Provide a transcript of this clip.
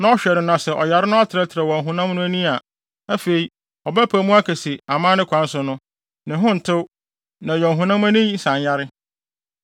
na ɔhwɛ no na sɛ ɔyare no atrɛtrɛw wɔ ɔhonam no ani a, afei, ɔbɛpae mu aka sɛ amanne kwan so no, ne ho ntew na ɛyɛ ɔhonam ani nsanyare.